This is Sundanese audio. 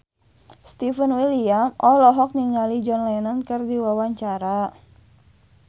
Stefan William olohok ningali John Lennon keur diwawancara